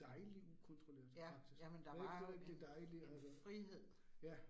Dejlig ukontrolleret faktisk rigtig rigtig dejligt og ja